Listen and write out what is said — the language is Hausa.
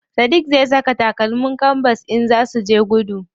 Sadiq zai saka takalmin kanbas idan zaa suje gudu.